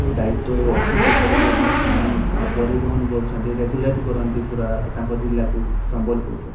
ଦାୟିତ୍ଵ ଏ ଅଫିସ୍ ଉପରେ ଯେଉଁ ମାନେ ସେମାନେ ପରିବହନ କରୁଛନ୍ତି। ରେଗୁଲେଟ୍ କରନ୍ତି ପୁରା ତାଙ୍କ ଜିଲ୍ଲାକୁ। ସମ୍ବଲପୁରରେ --